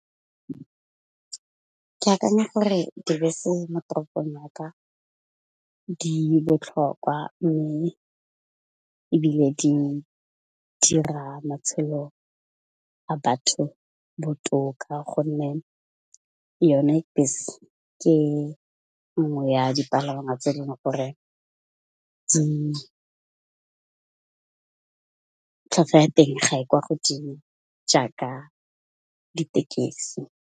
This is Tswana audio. Ke akanya gore dibese mo toropong ya ka di botlhokwa mme, ebile di dira matshelo a batho botoka gonne yone bese ke 'nngwe ya dipalangwa tse e leng gore tlhatlhwa ya teng ga e kwa godimo jaaka ditekesi.